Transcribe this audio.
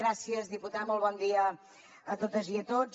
gràcies diputat molt bon dia a totes i a tots